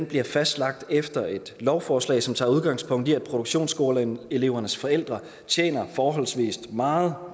bliver fastlagt efter et lovforslag som tager udgangspunkt i at produktionsskoleelevernes forældrene tjener forholdsvis meget